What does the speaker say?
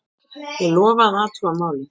Ég lofa að athuga málið.